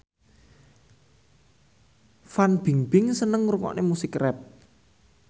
Fan Bingbing seneng ngrungokne musik rap